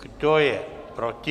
Kdo je proti?